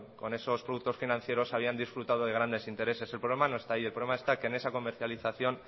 con esos productos financieras había disfrutado de grandes intereses el problema no está ahí el problema está que en esa comercialización